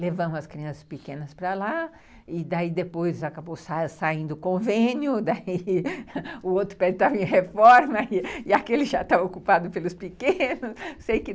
Levamos as crianças pequenas para lá e daí depois acabou saindo convênio, o outro pé estava em reforma e aquele já estava ocupado pelos pequenos.